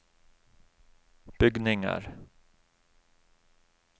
bygninger